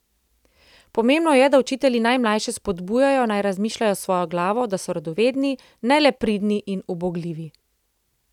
Pomembno je, da učitelji najmlajše spodbujajo, naj razmišljajo s svojo glavo, da so radovedni, ne le pridni in ubogljivi.